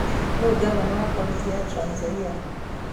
Nũũ ngavana wa kaũntĩ ya Trans Nzoia?